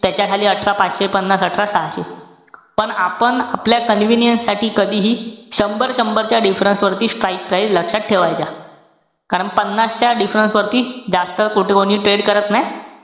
त्याच्या खाली अठरा पाचशे पन्नास, अठरा सहाशे. पण आपण आपल्या convinience साठी कधीहि, शंभर-शंभर च्या difference वरती, strike price लक्षात ठेवायच्या. कारण पन्नास च्या difference वरती, जास्त कुठं कोणी trade करत नाई.